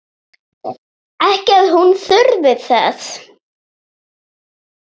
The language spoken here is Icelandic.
Ekki að hann þurfi þess.